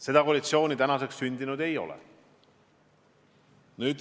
Seda koalitsiooni tänaseks sündinud ei ole.